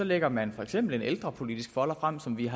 lægger man for eksempel en ældrepolitisk folder frem som vi